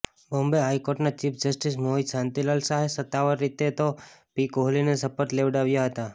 બોમ્બે હાઇકોર્ટના chief justice Mohit Shantilal શાહે સત્તાવાર રીતે ઓ પી કોહલીને શપથ લેવડાવ્યા હતા